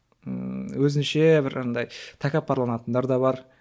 ыыы өзінше бір андай тәкаппарланатындар да бар